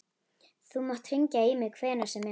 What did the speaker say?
Þú mátt hringja í mig hvenær sem er.